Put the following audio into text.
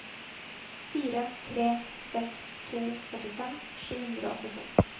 fire tre seks to førtifem sju hundre og åttiseks